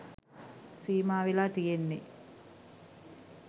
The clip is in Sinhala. සීමා වෙලා තියෙන්නේ.